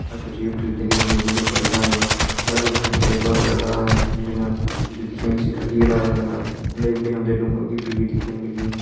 और कुछ यूटिलिटी दिखेण लगीं जो खड़ी छान होईं पिछाड़ी बिटि हम तें बड़ा बड़ा डालन दिखेण लग्यां जु दिखेण से खड़की का डालन लगणा उंडे बिटि हम तें डूंगों की भीड़ दिखेण लगीं।